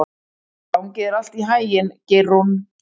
Gangi þér allt í haginn, Geirrún.